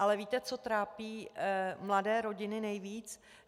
Ale víte, co trápí mladé rodiny nejvíc?